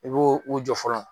I b'o u jɔ fɔlɔ